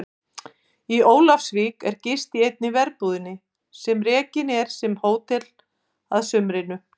Í Ólafsvík er gist í einni verbúðinni sem rekin er sem hótel að sumrinu.